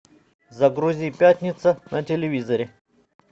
загрузи пятница на телевизоре